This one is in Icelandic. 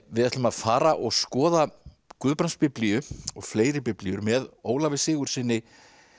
við ætlum að fara og skoða Guðbrandsbiblíu og fleiri biblíur með Ólafi Sigurðssyni